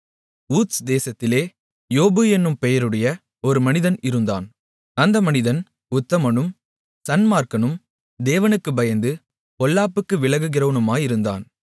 ஊத்ஸ் தேசத்திலே யோபு என்னும் பெயருடைய ஒரு மனிதன் இருந்தான் அந்த மனிதன் உத்தமனும் சன்மார்க்கனும் தேவனுக்குப் பயந்து பொல்லாப்புக்கு விலகுகிறவனுமாயிருந்தான்